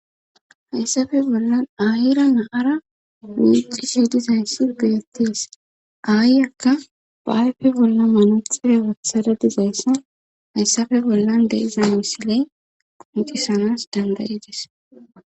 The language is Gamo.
Hayssafe bollan ahira naara muuci shedizayssi geettees aayyakka baayfe bolla manaxire waththara dizayssan hayssafe bollan deiza misiley quncisanas dandayidis.